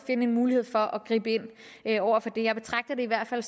en mulighed for at gribe ind over for det jeg betragter det i hvert fald